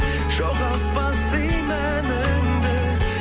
жоғалтпа сый мәніңді